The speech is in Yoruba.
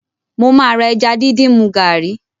Mo máa ra ẹja díndín mu gàárì